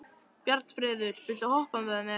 Bjarnfreður, viltu hoppa með mér?